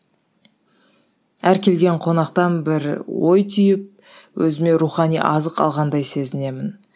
әр келген қонақтан бір ой түйіп өзіме рухани азық алғандай сезінемін